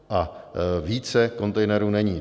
A více kontejnerů není.